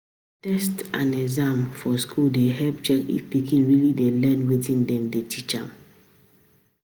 Test and exam for school dey help check if pikin really dey learn wetin dem dey teach am.